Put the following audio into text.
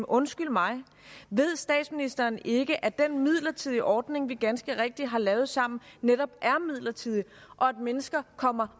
undskyld mig ved statsministeren ikke at den midlertidige ordning vi ganske rigtigt har lavet sammen netop er midlertidig og at mennesker kommer